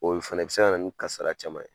Olu fana bɛ se ka na ni kasara caman ye.